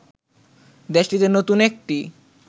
দেশটিতে নতুন একটি